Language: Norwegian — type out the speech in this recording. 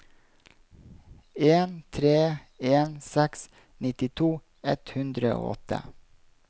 en tre en seks nittito ett hundre og åtte